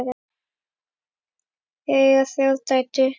Þau eiga þrjár dætur.